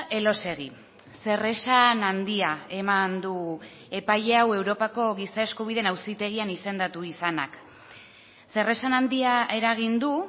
elósegui zeresan handia eman du epaile hau europako giza eskubideen auzitegian izendatu izanak zeresan handia eragin du